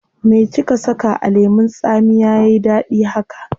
Me kika saka a lemun tsamiya yayi dadi haka?